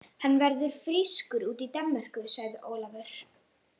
Hann verður frískur úti í Danmörku, sagði Ólafur.